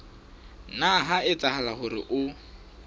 nna ha etsahala hore o